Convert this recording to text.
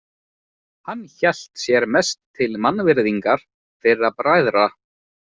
Hann hélt sér mest til mannvirðingar þeirra bræðra.